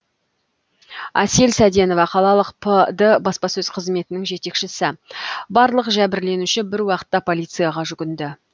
әсел сәденова қалалық пд баспасөз қызметінің жетекшісі барлық жәбірленуші бір уақытта полицияға жүгінді